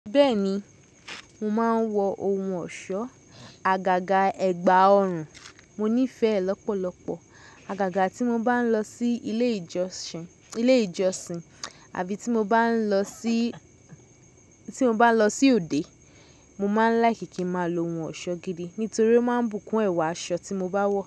Bẹ́ẹ̀ni, mo máa ń wọ ohun ọ̀ṣọ́, àgàgà ẹ̀gbà ọrùn. Mo nífẹ̀ẹ́ lọ́pọ̀lọpọ̀ àgàgà tí mo bá ń lọ sí ilé ìjọsìn, ilé ìjọsìn àbí tí mo bá ń lọ sí, tí mo bá lọ sí òde. Mo máa ń láìkí kí ń máa lo ohun ọ̀ṣọ́ gidi nítorí ó máa ń bùkún ẹwà aṣọ tí mo bá wọ̀.